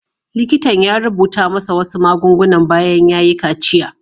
Likitan ya rubuta masa wasu magunguna bayan ya yi kaciya.